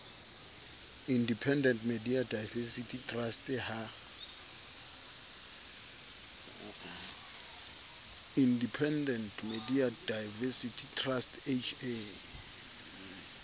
independent media diversity trust ha